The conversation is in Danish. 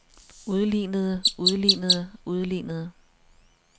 udlignede udlignede udlignede